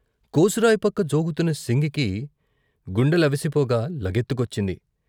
కోసురాయిపక్క జోగుతున్న సింగికి గుండెలవిసిపోగా లగెత్తుకొచ్చింది.